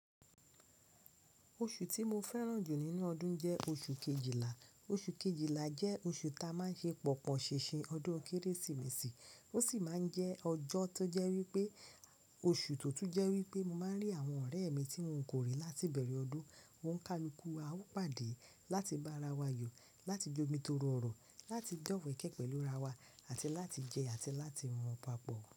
Oṣù tí mo fẹ́ràn jù nínú ọdún jẹ́ oṣù kejìlá. Oṣù kejìlá jẹ́ oṣù ta máa ń ṣe pọ̀pọ̀ ṣínṣìn ọdún Kérésìmesì, ó sì máa ń jẹ́ ọjọ́ tó jẹ́ wípé oṣù tó tún jẹ́ wípé mo máa ń rí àwọn ọ̀rẹ́ mi tí mò ń kò rí láti bẹ̀rẹ̀ ọdún. Ó ń ká ìlúkú, a ó pàdé láti bá ara wa yọ̀, láti jomi Toro ọrọ, láti dọ̀wẹkẹ pẹ̀lú ara wa àti láti jẹ́ àti láti mu papọ̀